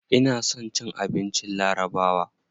Ina son abincin larabawa.